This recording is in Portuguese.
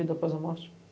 vida após a morte.